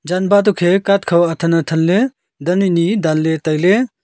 janba tokhe cart khaw athan athanley dan anyi danley tailey.